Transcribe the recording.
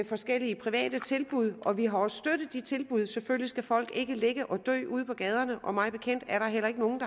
forskellige private tilbud og vi har også støttet de tilbud for selvfølgelig skal folk ikke ligge og dø ude på gaderne og mig bekendt heller ikke nogen